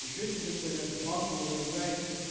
ещё тебе совет банку заряжай